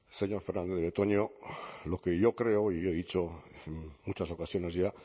señor fernandez de betoño lo que yo creo y yo he dicho en muchas ocasiones ya